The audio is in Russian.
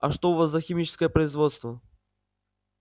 а что у вас за химическое производство